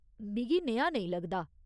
मिगी नेहा नेईं लगदा।